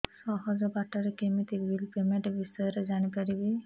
ସହଜ ବାଟ ରେ କେମିତି ବିଲ୍ ପେମେଣ୍ଟ ବିଷୟ ରେ ଜାଣି ପାରିବି